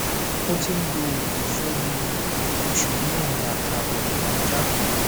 ó ti ń lo òògùn fún bí i oṣù mẹrin àtààbọ tó kọjá